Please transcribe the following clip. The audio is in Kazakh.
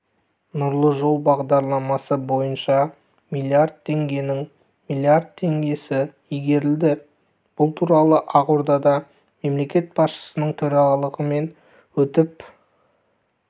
нұрлы жол бағдарламасы бойынша млрд теңгенің млрд теңгесі игерілді бұл туралы ақордада мемлекет басшысының төрағалығымен өтіп